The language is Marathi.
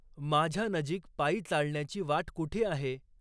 माझ्या नजीक पायी चालण्याची वाट कुठे आहे?